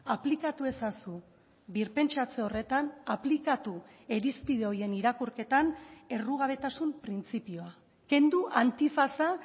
aplikatu ezazu birpentsatze horretan aplikatu irizpide horien irakurketan errugabetasun printzipioa kendu antifaza